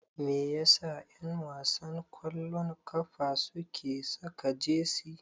Me yasa ƴanwasan ƙwallon ƙafa suke saka jesi?